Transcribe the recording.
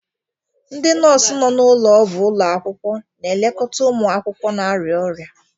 Ndị nọọsụ nọ n'ụlọọgwụ ụlọ akwụkwọ na-elekọta ụmụ akwụkwọ na-arịa ọrịa.